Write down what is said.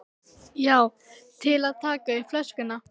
Já, til að taka upp flöskuna